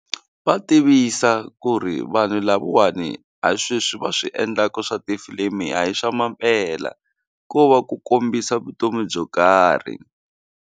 Va tivisa ku ri vanhu lavawani a sweswi va swi endlaka swa tifilimi a hi swa mampela ko va ku kombisa vutomi byo karhi.